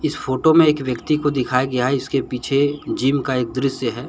इस फोटो में एक व्यक्ति को दिखाया गया है इसके पीछे जिम का एक दृश्य है।